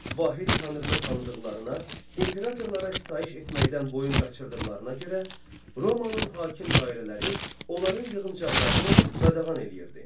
Vahid tanrını tanıdıqlarına, imperatorlara sitayiş etməkdən boyun qaçırdıqlarına görə Romanın hakim dairələri onların yığıncaqlarını qadağan eləyirdi.